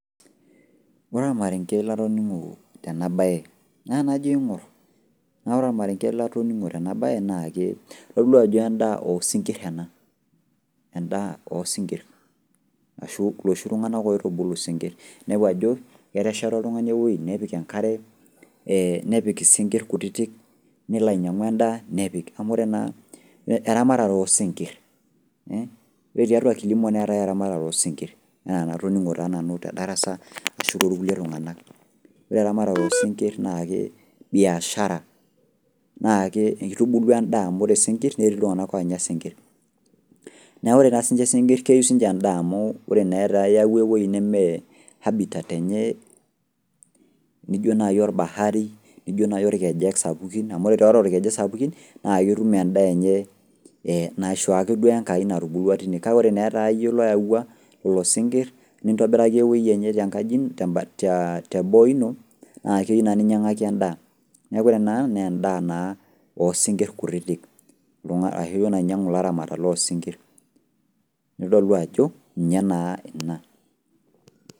Ore olmarenge latoning'o tena baye, naa najo aing'orr naa ore olmarenge latoning'o tena baye naake idol duo ajo endaa oosinkirr ena. Endaa oosinkirr ashuu loshi tung'anak oitubulu sinkirr. Inepu ajo ketesheta oltung'ani ewuei nepik enkare ee nepik isinkirr kutitik nelo ainyang'u endaa nepik, amu ore enaa eramatare oosinkirr eh ore tiatua kilimo neetai eramatare oosinkirr naa enatoning'o taa nanu te darasa ashu toolkulie tung'ana. Ore eramatare oosinkirr naake biashara naakee eitubulu endaa amu ore sinkirr netii iltung'ana oonya sinkirr. Neaku ore taa siinche sinkirr keyou siinche endaa amuu ore etaa iyauwa ewuei nemee habitat enye nijo nai olbahari nijo nai ilkejek sapuki amu ore tatua ilkejek sapuki naaketum endaa enye ee naisho ake duoo eNkai natubulua tine kake ore neetayie loawua lolosinkirr nintobiraki ewuei enye tenkaji tembata teboo ino naakeyiu naa ninyang'aki endaa. Neaku ore ena naa endaa naa osinkirr kutitik. Ashu duo enainyang'u ilaramatak loosinkirr nidol duo ajo ninye naa ina.